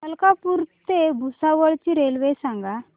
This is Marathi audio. मलकापूर ते भुसावळ ची रेल्वे सांगा